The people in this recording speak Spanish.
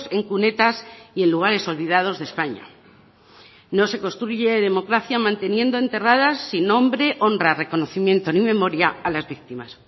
en cunetas y en lugares olvidados de españa no se construye democracia manteniendo enterradas sin nombre honra reconocimiento ni memoria a las víctimas